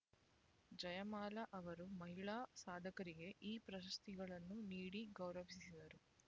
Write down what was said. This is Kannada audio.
ಜಯಮಾಲಾ ಅವರು ಮಹಿಳಾ ಸಾಧಕರಿಗೆ ಈ ಪ್ರಶಸ್ತಿಗಳನ್ನು ನೀಡಿ ಗೌರವಿಸಿದರು